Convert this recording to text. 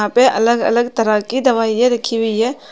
यहां पे अलग अलग तरह की दवाइयां रखी हुई है।